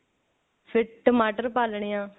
ਫਿਰ ਟਮਾਟਰ ਪਾ ਲੇਣੇ ਆ